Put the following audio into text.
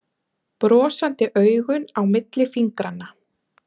Brosandi augun á milli fingranna.